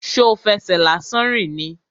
Ṣo fẹsẹ̀ lásán rìn ni?